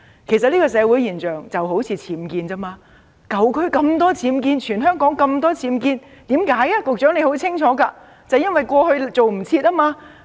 其實這種社會現象就好像僭建物一樣，舊區有那麼多僭建物，全香港有那麼多僭建物，原因是甚麼？